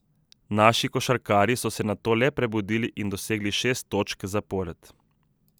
Naši košarkarji so se nato le prebudili in dosegli šest točk zapored.